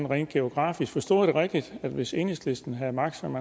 rent geografisk forstod jeg det rigtigt at hvis enhedslisten havde magt som